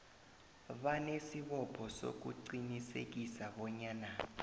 banesibopho sokuqinisekisa bonyana